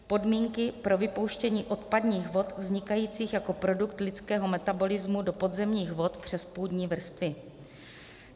podmínky pro vypouštění odpadních vod vznikajících jako produkt lidského metabolismu do podzemních vod přes půdní vrstvy.